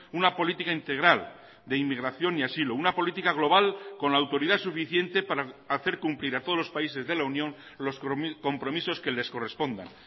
una política integral de inmigración y asilo una política global con la autoridad suficiente para hacer cumplir a todos los países de la unión los compromisos que les correspondan